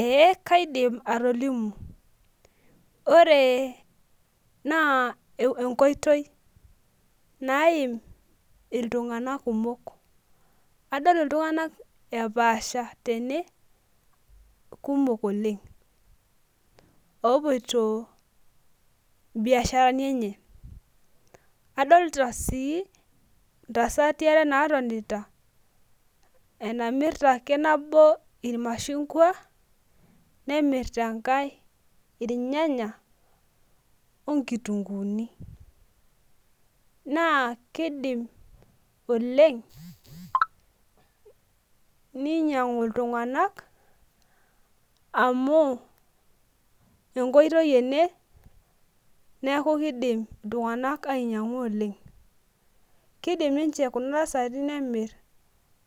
Ee kaidim atolimu, ore naa enkoitoi naimi iltunganak kumok. Adol iltunganak epaasha tene, kumok Oleng. oopoito biasharani enye. adoolta sii ntasati are naatonita, enamirta ake nabo ilmashungua nemirta enkae, irnyanya onkitunkuuni. naa kidim oleng ninyiang'u iltunganak amu, enkoitoi ene neeku kidim iltunganak ainyiangu oleng. kidim ninche, Kuna tasati nemir